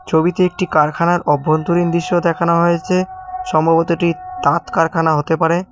ছবিতে একটি কারখানার অভ্যন্তরীণ দৃশ্য দেখানো হয়েছে সম্ভবত এটি তাঁত কারখানা হতে পারে।